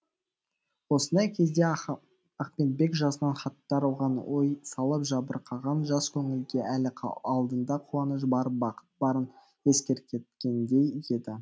осындай кезде ахметбек жазған хаттар оған ой салып жабырқаған жас көңілге әлі алдында қуаныш барып бақыт барын ескерткендей еді